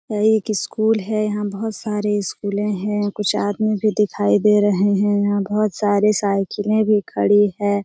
यह एक स्कूल है यहाँ बहुत सारे स्कूले हैं यहाँ कुछ आदमी भी दिखाई दे रहे है यहाँ बहुत सारे साइकिले भी खड़ी हैं।